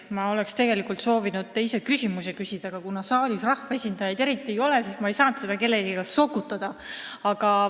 Ma oleks tegelikult soovinud ka teise küsimuse küsida, aga kuna saalis eriti rahvaesindajaid ei ole, siis ma ei saanud seda kellelegi sokutada.